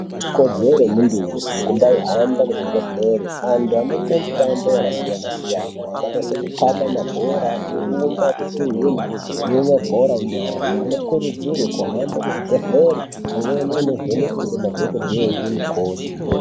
Ikodzero yemuntu wese kumbai hamba kuzvi bhenhlera vantu vanoita mitambo yakasiyana -siyana yakaita sekukaba mabhora kurumba kutuhwina nemabhora enyara vanokurudzirwa kuhamba kuzvibhedhleri vando vhenekwa nema dhokodheya ngemukoti .